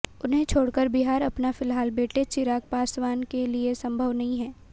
उन्हें छोड़ कर बिहार आना फिलहाल बेटे चिराग पासवान के लिए संभव नहीं है